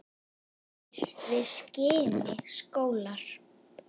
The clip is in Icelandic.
hlær við skini sólar